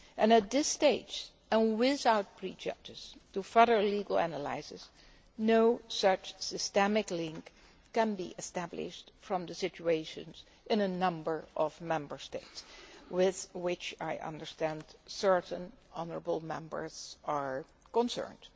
At this stage, and without prejudice to further legal analysis, no such systemic link can be established from the situations in a number of Member States with which I understand certain honourable Members are concerned.